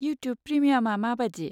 YouTube प्रेमियामा माबादि?